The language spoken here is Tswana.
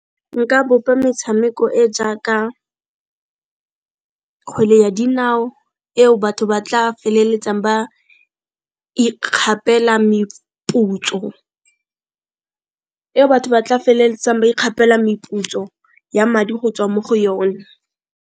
Nka bopa metshameko e jaaka kgwele ya dinao eo batho ba tla feleletsang ba ikgapela meputso, eo batho ba tla feleletsang ba ikgapela meputso ya madi go tswa mo go yone.